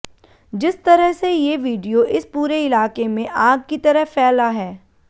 जिस तरह से ये वीडियो इस पूरे इलाके में आग की तरह फैला है